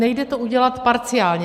Nejde to udělat parciálně.